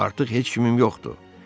Artıq heç kimim yoxdur.